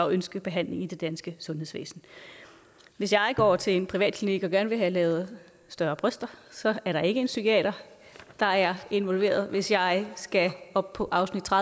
ønske behandling i det danske sundhedsvæsen hvis jeg går til en privatklinik og gerne vil have lavet større bryster er der ikke en psykiater der er involveret hvis jeg skal op på afsnit tre